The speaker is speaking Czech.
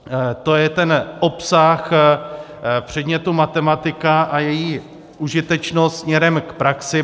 To je ten obsah předmětu matematika a její užitečnost směrem k praxi.